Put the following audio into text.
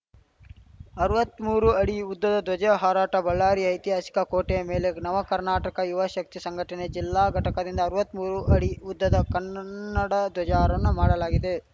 ಅರ್ವತ್ಮೂರು ಅಡಿ ಉದ್ದದ ಧ್ವಜ ಹಾರಾಟ ಬಳ್ಳಾರಿಯ ಐತಿಹಾಸಿಕ ಕೋಟೆಯ ಮೇಲೆ ನವಕರ್ನಾಟಕ ಯುವಶಕ್ತಿ ಸಂಘಟನೆಯ ಜಿಲ್ಲಾ ಘಟಕದಿಂದ ಅರ್ವತ್ಮೂರು ಅಡಿ ಉದ್ದದ ಕನ್ನಡ ಧ್ವಜಾರೋಹಣ ಮಾಡಲಾಗಿದೆ